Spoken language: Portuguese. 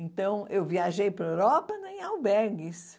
Então, eu viajei para a Europa né em albergues.